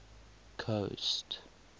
coast